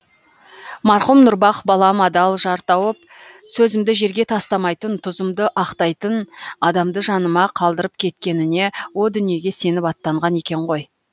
марқұм нұрбақ балам адал жар тауып сөзімді жерге тастамайтын тұзымды ақтайтын адамды жаныма қалдырып кеткеніне о дүниеге сеніп аттанған екен ғой